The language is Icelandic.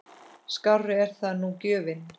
Skárri er það nú gjöfin!